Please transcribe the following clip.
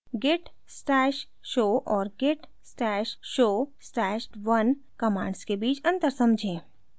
git stash show और git stash show stash @{1} commands के बीच अंतर समझें